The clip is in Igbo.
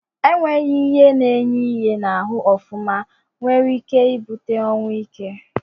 Enweghi ihe na enye ihe na ahụ ofụma nwere ike ebute ọnwụ ike.